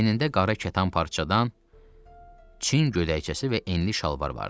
Əynində qara kətan parçadan Çin gödəkçəsi və enli şalvar vardı.